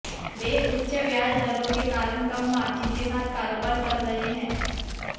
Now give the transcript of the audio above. वे उच्च ब्याज दरों के कारण कम मार्जिन के साथ कारोबार कर रहे हैं